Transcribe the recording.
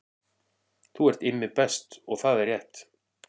Þú ert Immi Best og það er rétt